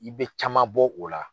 I bɛ caman bɔ o la.